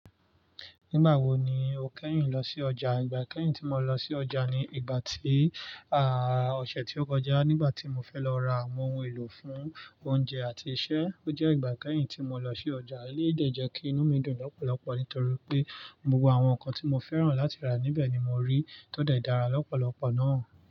Nígbà wo ni o kẹ́yìn lọ sí ọjà? Ìgbà kẹ́yìn tí mo lọ sí ọjà ni ìgbà tí, à, ọ̀sẹ̀ tí ó kọjá. Nígbà tí mo fẹ́ lọ ra àwọn ohun èlò fún oúnjẹ àti iṣẹ́. Ó jẹ́ ìgbà kẹ́hìn tí mo lọ sí ọjà, eleyii dẹ́ jẹ́ kí inú mi dùn lọ́pọ̀lọpọ̀ nítorí pé gbogbo àwọn nǹkan tí mo fẹ́ràn láti rà níbẹ̀ ni mo rí, tó de dára lọ́pọ̀lọpọ̀ náà.